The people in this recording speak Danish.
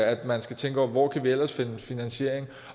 at man skal tænke over hvor kan vi ellers finde finansiering